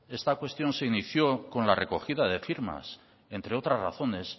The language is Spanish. esta cuestión se inició con la recogida de firmas entre otras razones